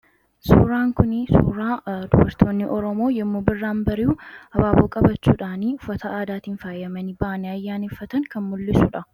suuraan kunii suuraa dubartoonni oromoo yommu birraan bari'u abaaboo qabachuudhaanii ufataa aadaatiin faayyamanii ba'ane ayyaaniffatan kan mul'isuudha